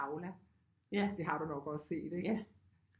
Aula det har du nok også set ikke